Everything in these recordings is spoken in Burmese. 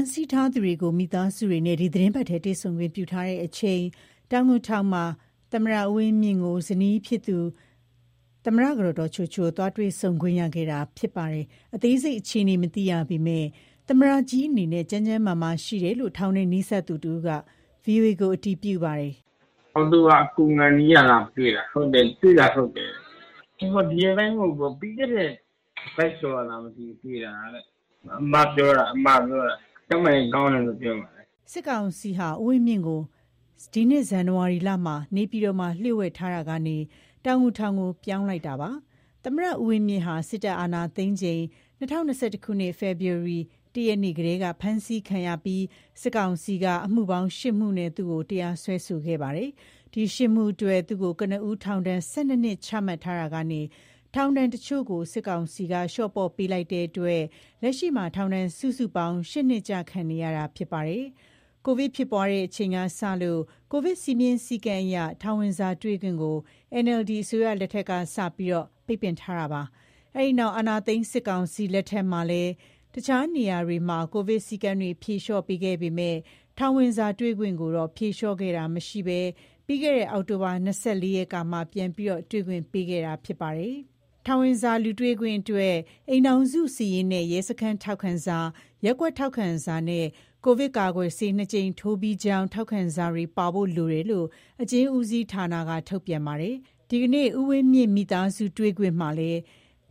မ်းဆီးထားသူတွေကို မိသားစုတွေနဲ့ ဒီသီတင်ပတ်ထဲ တွေ့ဆုံခွင့်ပြုထားချိန်မှာ တောင်ငူထောင်မှာ သမ္မတ ဦးဝင်းမြင့်ကို ဇနီးဖြစ်သူ သမ္မတကတော် ဒေါ်ချိုချို သွားတွေ့ဆုံခွင့်ရခဲ့တာဖြစ်ပါတယ်။ အသေးစိတ် အခြေအနေကို မသိရပေမယ့် သမ္မတကြီးအနေနဲ့ ကျန်းကျန်းမာမာရှိတယ်လို့ ထောင်နဲ့နီးစပ်သူတဦးက ဗွီအိုအေကိုအတည်ပြုပါတယ်။ "အောက်တိုဘာကုန်ခါနီးလောက်ကတွေ့တာ။ တွေ့တာဟုတ်တယ်။ ပြီးခဲ့တဲ့ တပါတ်ကျော်က တွေ့ခဲ့ တာတဲ့။ အမပြောပြတာ။ ကျန်းမာရေးကောင်းတယ်ပြောတယ်။" စစ်ကောင်စီဟာ ဦးဝင်းမြင့်ကို ဒီနှစ်ဇန်နဝါရီလမှာ နေပြည်တော်မှာလျို့ဝှက်ထားရှိရာ ကနေ တောင်ငူ ထောင်ကိုပြောင်းလိုက်တာဖြစ်ပါတယ်။ သမ္မတ ဦးဝင်းမြင့်ဟာ စစ်တပ်အာဏာသိမ်းချိန် ၂၀၂၁ ခုနှစ်၊ ဖေဖော်ဝါရီလ ၁ ရက်နေ့ကတည်းက ဖမ်းဆီးခံရပြီး စစ်ကောင်စီက အမှုပေါင်း ရှစ်မှုနဲ့သူ့ကို တရားစွဲခဲ့တာဖြစ်ပါတယ်။ ဒီ ၈မှု အတွက် သူ့ကို ကနဦး ထောင်ဒဏ် ၁၂နှစ် ချမှတ်ထားရာကနေ ထောင်ဒဏ်အချို့ကို စစ်ကောင်စီက လျော့ပေါ့ပေးလိုက်တာမို့ လက်ရှိမှာ ထောင်ဒဏ်စုစုပေါင်း ၈နှစ် ကျခံနေရတာ ဖြစ်ပါတယ်။ ကိုဗစ်ဖြစ်ပွားခဲ့တဲ့ အချိန်ကစလို့ ကိုဗစ်စည်းမျဉ်း စည်းကမ်းအရ ထောင်ဝင်စာတွေ့ခွင့်ကို NLD အစိုးရ လက်ထက်က စတင်ပြီး ပိတ်ပင်ထားတာ ဖြစ်ပါတယ်။ အဲဒီနောက်အာဏာသိမ်း စစ်ကောင်စီ လက် ထက်မှာလည်း တခြားနေရာတွေမှာ ကိုဗစ်စည်းကမ်းတွေ ဖြေလျော့ပေးခဲ့ပေမယ့် ထောင် ဝင်စာတွေ့ ခွင့်ကိုတော့ ဖြေလျော့ခဲ့တာ မရှိဘဲ ပြီးခဲ့တဲ့ အောက်တိုဘာ ၂၄ ရက်နေ့ကမှ ပြန်လည်တွေ့ ခွင့် ပေးခဲ့ တာဖြစ်ပါတယ်။ ထောင်ဝင်စာလူတွေ့ခွင့်အတွက် အိမ်ထောင်စုစာရင်းနဲ့ ရဲစခန်းထောက်ခံစာ၊ ရပ်ကွက်ထောက် ခံစာနဲ့ ကိုဗစ်ကာကွယ်ဆေး နှစ်ကြိမ်ထိုးပြီးကြောင်း ထောက်ခံစာတွေပါဖို့ လိုတယ်လို့ အကျဉ်းဦးစီးဌာနက ထုတ်ပြန်ထားပါတယ်။ ဒီနေ့ ဦးဝင်းမြင့်မိသားစုတွေ့ခွင့်မှာလည်း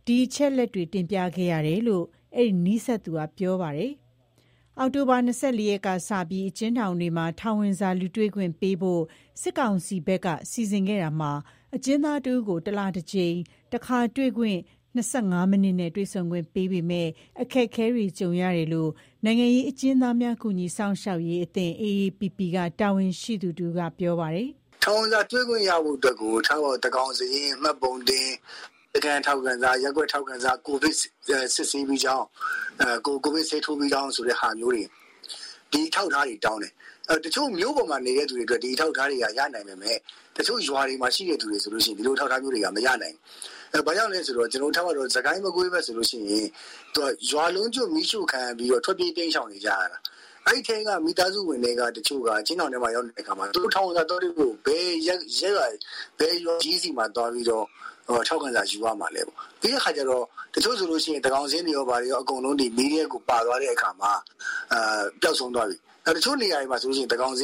ဒီအချက်အလက်တွေ တင်ပြခဲ့ရတယ်လို့ အဲဒီနီးစပ်သူကပြောပါတယ်။ အောက်တိုဘာ ၂၄ ရက်ကစပြီး အကျဉ်းထောင်တွေမှာ ထောင်ဝင်စာ လူတွေ့ခွင့်ပေးဖို့ စစ်ကောင်စီဘက်က စီစဉ်ခဲ့တာမှာ အကျဉ်းသားတဦးကို တလတကြိမ်၊ တခါတွေ့ ၂၅ မိနစ်နဲ့ တွေ့ဆုံခွင့် ပေးပေမယ့် အခက်အခဲတွေကြုံနေရတယ်လို့ နိုင်ငံရေးအကျဉ်းသားများကူညီစောင့်ရှောက်ရေး အသင်း AAPP က တာဝန်ရှိသူတဦးကပြောပါတယ်။ ထောင်ဝင်စာတွေ့ခွင့်ရဖို့ သန်းခေါင်စာရင်းမှတ်ပုံတင်၊ ရပ်ကွက်ထောက်ခံစာ၊ ရဲစခန်းထောက်ခံစာ၊ ကိုဗစ်ဆေးထိုးပြီးကြောင်းဟာမျိုးတွေ ဒီအထောက်အထားတွေတောင်းတယ်။ တချို့မြို့ပေါ်မှာနေသူတွေအတွက် ဒါတွေကရလိမ့်မယ်။ တချို့ရွာတွေမှာရှိသူတွေဆိုဒီလိုအထောက်အထားမရနိုင်ဘူး။ ဘာကြောင့်လဲဆိုတော့ စစ်ကိုင်း မကွေးဘက်တွေမှာဆို ရွာလုံးကျွတ်မီးရှို့ခံရပြီးထွက်ပြေးတိမ်းရှောင်နေရ တာ။ အဲထဲက မိသားစုဝင်တဦးက ထောင်ထဲရောက်နေတာ။ အဲတော့ထောင်ဝင်စာသွားတွေ့ဖို့ ဘယ် ရွာသူကြီးဆီသွားထောက်ခံစာယူရမလဲ။ တချို့ဆို သန်းခေါင်စာရင်းမီးထဲပါသွားတယ်။ တချို့ဆို သန်းခေါင်စာရင်းတောင်မ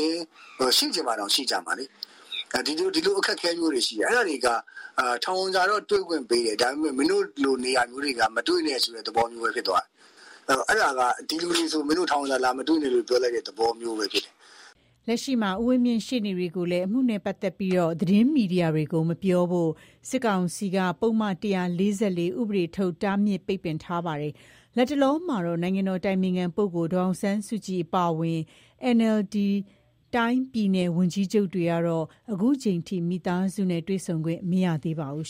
ရှိကြဘူး။ အဲလိုကျတော့ ထောင်ဝင်စာတွေ့ခွင့်တော့ပေးတယ် မင်းတို့နေရာ ကလူတွေမတွေ့နဲ့ဆိုတာမျိုးဖြစ်သွားတယ်။ အဲဒါကဒီလူတွေဆို မင်းတို့ထောင်ဝင်စာ လာမတွေ့နဲ့ဆိုတဲ့ သဘောမျိုးဖြစ်သွားတယ်။ လက်ရှိမှာ ဦးဝင်းမြင့်ရဲ့ ရှေ့နေတွေကိုလည်း အမှုနဲ့ပတ်သက်ပြီး သတင်းမီဒီယာတွေကို မပြောဖို့ စစ်ကောင်စီကပုဒ်မ ၁၄၄ ဥပဒေထုတ် တားမြစ်ပိတ်ပင်ထားတာ ဖြစ်ပါတယ်။ လတ်တလောမှာတော့ နိုင်ငံတော်အတိုင်ပင်ခံပုဂ္ဂိုလ် ဒေါ်အောင်ဆန်းစုကြည်အပါအဝင် NLD တိုင်း၊ ပြည်နယ်ဝန်ကြီးချုပ်တွေကတော့ ခုချိန်ထိ မိသားစုတွေ့ခွင့်မရသေးပါဘူး။